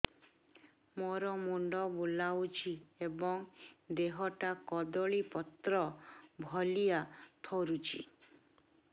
ମୋର ମୁଣ୍ଡ ବୁଲାଉଛି ଏବଂ ଦେହଟା କଦଳୀପତ୍ର ଭଳିଆ ଥରୁଛି